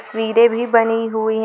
स्वीरे भी बनी हुई है।